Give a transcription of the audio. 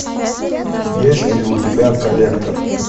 есть ли у тебя коллектор